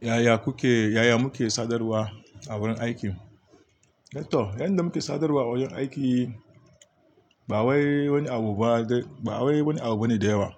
Yaya kuke, yaya muke sadarwa a wurin aiki? Ah to, yanda muke sadarwa a wajen aiki ba wani abu ba dai, ba wani abu bane da yawa.